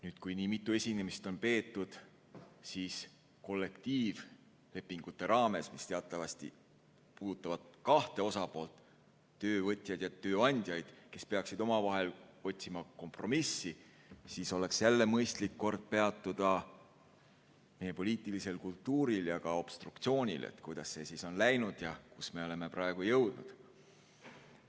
Nüüd, kui nii mitu esinemist on peetud kollektiivlepingute raames, mis teatavasti puudutavad kahte osapoolt – töövõtjaid ja tööandjaid, kes peaksid omavahel otsima kompromissi –, siis oleks jälle mõistlik kord peatuda meie poliitilisel kultuuril ja ka obstruktsioonil, et kuidas see siis on läinud ja kuhu me oleme praegu jõudnud.